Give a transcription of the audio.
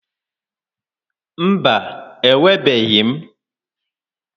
Mba, enwebeghị m.